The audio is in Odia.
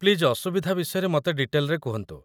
ପ୍ଲିଜ୍ ଅସୁବିଧା ବିଷୟରେ ମତେ ଡିଟେଲ୍‌ରେ କୁହନ୍ତୁ ।